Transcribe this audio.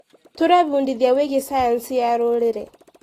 Tũrebundithia wĩgiĩ cayanci ya rũrĩrĩ.